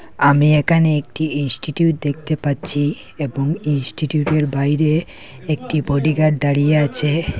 আমি এখানে একটি ইনস্টিটিউট দেখতে পাচ্ছি এবং ইনস্টিটিউটের বাইরে একটি বডিগার্ড দাঁড়িয়ে আছে।